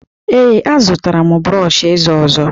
Ee, azụtara m brọọshị eze ọzọ